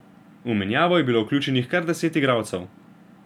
V menjavo je bilo vključenih kar deset igralcev.